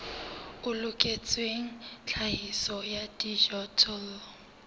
o loketseng tlhahiso ya dijothollo